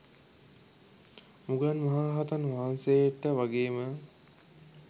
මුගලන් මහ රහතන් වහන්සේට වගේම